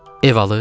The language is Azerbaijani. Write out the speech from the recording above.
Ev alıb?